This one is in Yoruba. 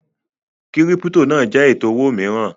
Kírípítò náà jẹ́ ètò owó mìíràn